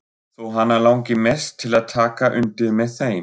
Þó hana langi mest til að taka undir með þeim.